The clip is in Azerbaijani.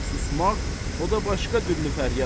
Susmaq, o da başqa dürlü fəryad.